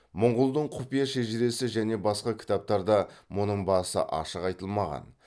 мұңғұлдың құпия шежіресі және басқа кітаптарда мұның басы ашық айтылмаған